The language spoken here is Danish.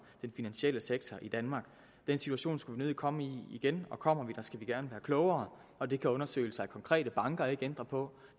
den finansielle sektor i danmark den situation skulle vi nødig komme i igen og kommer vi der skal vi gerne være klogere og det kan undersøgelser af konkrete banker ikke ændre på